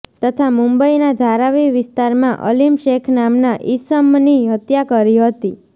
તથા મુંબઈના ધારાવી વિસ્તારમાં અલીમ શેખ નામના ઈસમની હત્યા કરી હતી